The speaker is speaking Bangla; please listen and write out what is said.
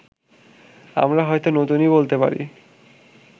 আমরা হয়তো নতুনই বলতে পারি